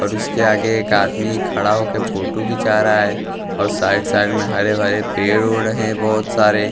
और उसके आगे एक आदमी खड़ा होके फोटो खिचा रहा हैं और साइड साइड में हरे भरे पेड़ उड़ रहे हैं बहुत सारे--